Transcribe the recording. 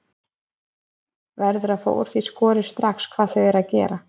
Verður að fá úr því skorið strax hvað þau eru að gera.